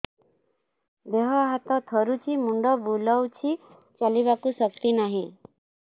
ଦେହ ହାତ ଥରୁଛି ମୁଣ୍ଡ ବୁଲଉଛି ଚାଲିବାକୁ ଶକ୍ତି ନାହିଁ